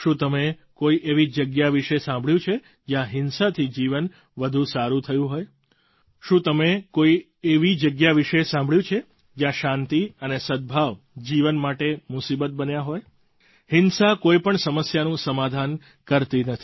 શું તમે કોઈ એવી જગ્યા વિશે સાંભળ્યું છે જ્યાં હિંસાથી જીવન વધુ સારું થયું હોય શું તમે કોઈ કેવી જગ્યા વિશે સાંભળ્યું છે જ્યાં શાંતિ અને સદભાવ જીવન માટે મુસીબત બન્યા હોય હિંસા કોઈ પણ સમસ્યાનું સમાધાન કરતી નથી